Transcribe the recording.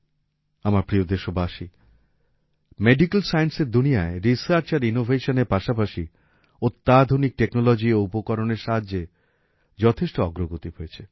আমার প্রিয় দেশবাসী মেডিকেল সাইন্সের দুনিয়ায় রিসার্চ আর ইনোভেশনের পাশাপাশি অত্যাধুনিক টেকনোলজি ও উপকরণের সাহায্যে যথেষ্ট অগ্রগতি হয়েছে